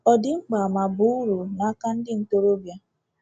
Ọ dị mkpa ma baa uru n’aka ndị ntorobịa?